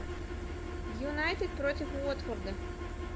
юнайтед против уотфорда